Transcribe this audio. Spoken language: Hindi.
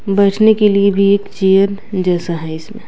बैठने के लिए भी एक चेयर जैसा है इसमें --